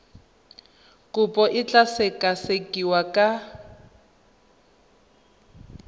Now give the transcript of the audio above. kopo e tla sekasekiwa ka